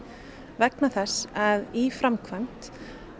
vegna þess að í framkvæmd